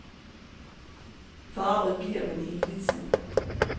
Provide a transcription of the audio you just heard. Forarget bliver man hele tiden.